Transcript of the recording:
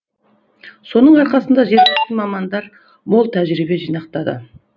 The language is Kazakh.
соның арқасында жергілікті мамандар мол тәжірибе жинақтады